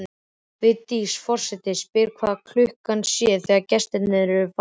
Vigdís forseti spyr hvað klukkan sé þegar gestirnir eru farnir.